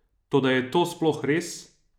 Toda je to sploh res?